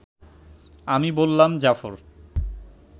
আমি বললাম, জাফর